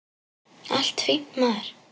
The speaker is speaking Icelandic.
Allt fínt, maður.